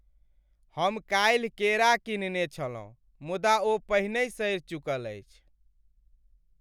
हम काल्हि केरा कीनने छलहुँ मुदा ओ पहिनही सड़ि चुकल अछि।